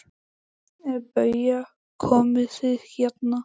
BAUJA: Komið þið hérna!